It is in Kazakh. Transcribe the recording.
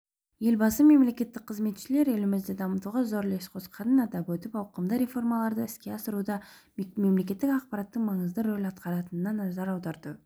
елбасы мемлекеттік қызметшілер елімізді дамытуға зор үлес қосқанын атап өтіп ауқымды реформаларды іске асыруда мемлекеттік аппараттың маңызды рөл атқаратынына назар аударды